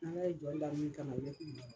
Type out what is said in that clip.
Ni Ala ye jɔ da min kama, i be k'o de ye.